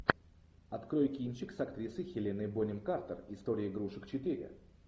открой кинчик с актрисой хеленой бонем картер история игрушек четыре